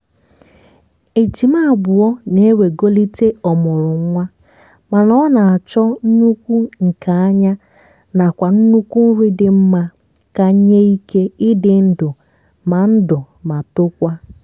ejima abụọ na ewegolite ọmụrụnwa mana ọ na-achọ nnukwu nke ányá nakwa nnukwu nri dị mma ka nyé ike ịdị ndụ ma ndụ ma tokwa